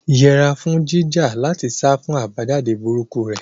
Yẹra fún jíjà láti sá fún àbájáde burúkú rẹ̀, Adebayo.